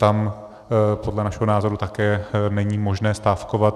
Tam podle našeho názoru také není možné stávkovat.